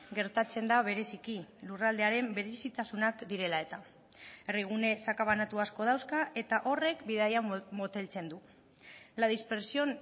gertatzen da bereziki lurraldearen berezitasunak direla eta herri gune sakabanatu asko dauzka eta horrek bidaia moteltzen du la dispersión